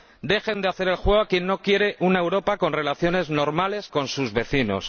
dejen de hacer el juego a quien no quiere una Europa con relaciones normales con sus vecinos